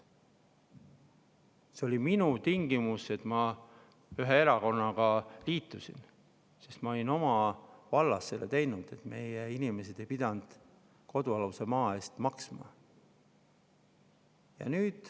See oli minu tingimus, kui ma ühe erakonnaga liitusin, sest ma olin oma vallas ära teinud selle, et meie inimesed ei pidanud kodualuse maa eest maksma.